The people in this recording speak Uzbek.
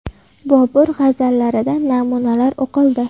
Bobur g‘azallaridan namunalar o‘qildi.